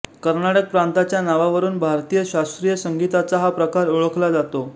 कर्नाटक प्रांताच्या नावावरून भारतीय शास्त्रीय संगीताचा हा प्रकार ओळखला जातो